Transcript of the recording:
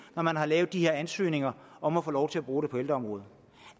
når man har lavet de her ansøgninger om at få lov til at bruge dem på ældreområdet